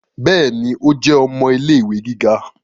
Béèni, o jẹ ọmọ ilé-ìwé gíga